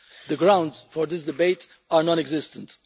The grounds for this debate are non existent.